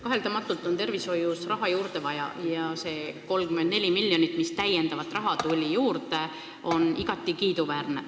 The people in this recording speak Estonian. Kaheldamatult on tervishoius raha juurde vaja ja see 34 miljonit, mis täiendavat raha juurde tuli, on igati kiiduväärne.